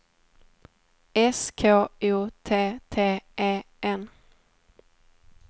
S K O T T E N